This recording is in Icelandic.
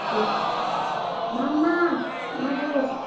MAMMA, maður!